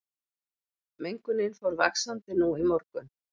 Mengunin fór vaxandi nú í morgun